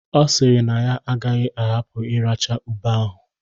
Ọ sịrị na ya agaghị ahapụ iracha ube ahụ.